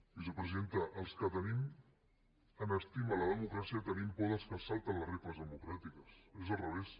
vicepresidenta els que tenim en estima la democràcia tenim por dels que es salten les regles democràtiques és al revés